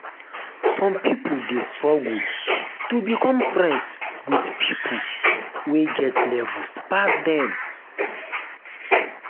some pipo de struggle to become friends with pipo wey get levels pass dem